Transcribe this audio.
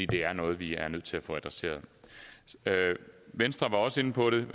det er noget vi er nødt til at få adresseret venstre var også inde på det